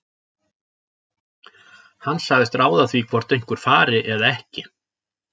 Hann segist ráða því hvort einhver fari eða ekki.